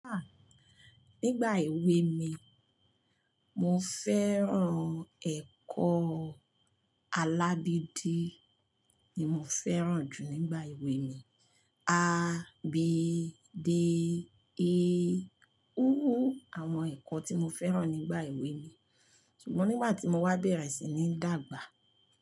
Nígbà èwe mi, mo fẹ́ràn ẹ̀kọ́ alábídi ni mo fẹ́ràn jù nígbà èwe mi. A, b, d, e. U àwọn ẹ̀kọ́ tí mo fẹ́ràn nígbà èwe mi. Ṣùgbọ́n nígbà tí mo wá bẹ̀rẹ̀ sìn ni dàgbà.